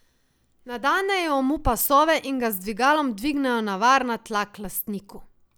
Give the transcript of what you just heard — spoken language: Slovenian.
Nadenejo mu pasove in ga z dvigalom dvignejo na varna tla k lastniku.